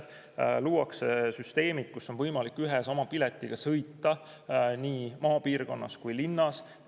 Luuakse süsteemid, kus on võimalik ühe ja sama piletiga sõita nii maapiirkonnas kui ka linnas.